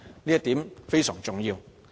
這一點是非常重要的。